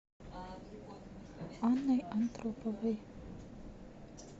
анной антроповой